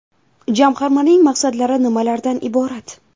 Jamg‘armaning maqsadlari nimalardan iborat ?